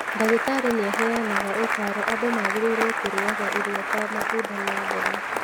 Ndagĩtarĩ nĩ aheanaga ũtaaro andũ magĩrĩirũo kũrĩaga irio ta matunda na mboga.